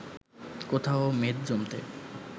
কোথাও মেদ জমতে